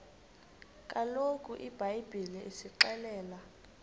kaloku ibhayibhile isixelela